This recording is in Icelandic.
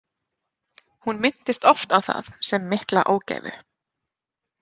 Hún minntist oft á það sem mikla ógæfu.